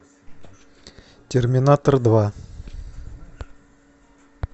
терминатор два